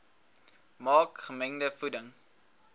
maak gemengde voeding